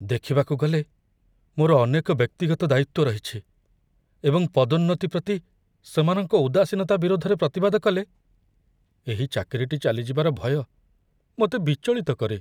ଦେଖିବାକୁ ଗଲେ, ମୋର ଅନେକ ବ୍ୟକ୍ତିଗତ ଦାୟିତ୍ୱ ରହିଛି, ଏବଂ ପଦୋନ୍ନତି ପ୍ରତି ସେମାନଙ୍କ ଉଦାସୀନତା ବିରୋଧରେ ପ୍ରତିବାଦ କଲେ ଏହି ଚାକିରିଟି ଚାଲିଯିବାର ଭୟ ମୋତେ ବିଚଳିତ କରେ।